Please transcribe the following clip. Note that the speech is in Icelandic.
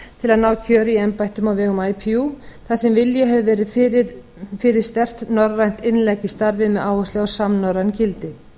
til að ná kjöri í embættum á vegum ipu þar sem vilji hefur verið fyrir sterkt norrænt innlegg í starfinu á samnorræn gildi